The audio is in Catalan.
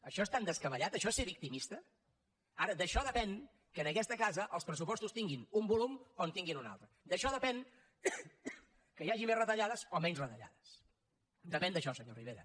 això és tan descabellat això és ser victimista ara d’això depèn que en aquesta casa els pressupostos tinguin un volum o en tinguin un altre d’això depèn que hi hagi més retallades o menys retallades depèn d’això senyor rivera